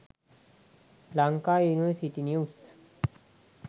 lanka university news